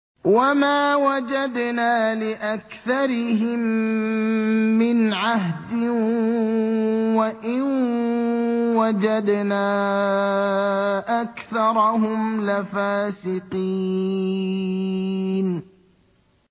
وَمَا وَجَدْنَا لِأَكْثَرِهِم مِّنْ عَهْدٍ ۖ وَإِن وَجَدْنَا أَكْثَرَهُمْ لَفَاسِقِينَ